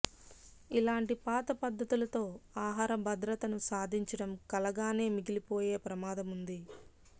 ఇలాంటి పాత పద్ధతులతో ఆహార భద్రతను సాధించటం కలగానే మిగిలిపోయే ప్రమాదముంది